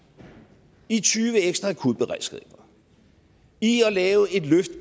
i tyve ekstra akutberedskab i at lave et løft